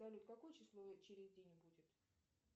салют какое число через день будет